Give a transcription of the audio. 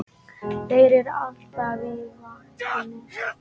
Þeir eru alltaf á vaktinni!